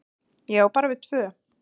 """Já, bara við tvö."""